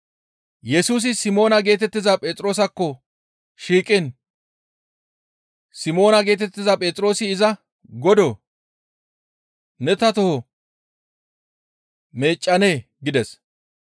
Yesusi Simoona geetettiza Phexroosakko shiiqiin Simoona geetettiza Phexroosi iza, «Godoo! Ne ta toho meeccanee?» gides.